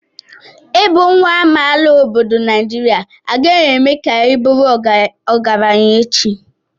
Ịbụ nwa amaala obodo Naijiria agaghị eme ka ị bụrụ ọgaranya echi.